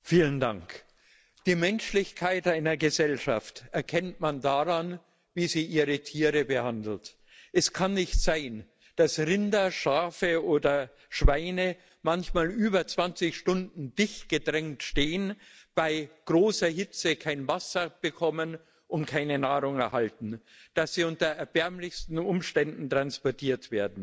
Frau Präsidentin! Die Menschlichkeit einer Gesellschaft erkennt man daran, wie sie ihre Tiere behandelt. Es kann nicht sein, dass Rinder, Schafe oder Schweine manchmal über 20 Stunden dicht gedrängt stehen, bei großer Hitze kein Wasser bekommen und keine Nahrung erhalten, dass sie unter erbärmlichsten Umständen transportiert werden.